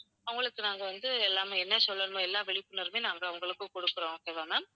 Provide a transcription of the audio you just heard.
அவங்களுக்கு நாங்க வந்து எல்லாமே என்ன சொல்லணுமோ எல்லா விழிப்புணர்வையும் நாங்க அவங்களுக்கு கொடுக்கிறோம் okay வா ma'am.